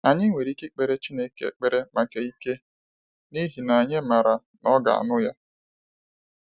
Anyị nwere ike ikpere chukwu ekpere maka ike, n'ihi na anyị mara na ọga anụ ya.